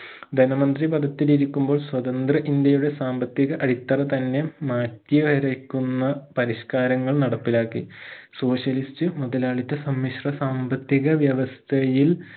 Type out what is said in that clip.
ധനമന്ത്രി പഥത്തിൽ ഇരിക്കുമ്പോൾ സ്വതന്ത്ര ഇന്ത്യയുടെ സാമ്പത്തിക അടിത്തറ തന്നെ മാറ്റി വരക്കുന്ന പരിഷ്കാരങ്ങൾ നടപ്പിലാക്കി socialist മുതലാളിത്ത സമ്മിഷ്ട്ര സാമ്പത്തിക വ്യവസ്ഥയിൽ